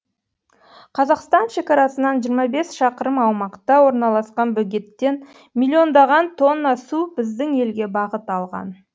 қазақстан шекарасынан жиырма бес шақырым аумақта орналасқан бөгеттен милиондаған тонна су біздің елге бағыт алған